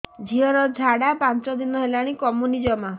ଝିଅର ଝାଡା ପାଞ୍ଚ ଦିନ ହେଲାଣି କମୁନି ଜମା